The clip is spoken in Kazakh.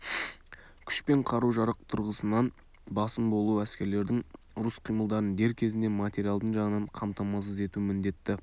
күш пен қару-жарақ тұрғысынан басым болу әскерлердің ұрыс қимылдарын дер кезінде материалдың жағынан қамтамасыз ету міндетті